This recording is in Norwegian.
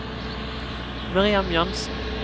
Miriam Jansen